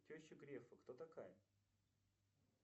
теща грефа кто такая